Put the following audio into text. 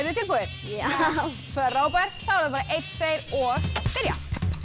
þið tilbúin já frábært þá er það einn tveir og byrja